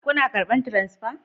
Kuna karban transfa?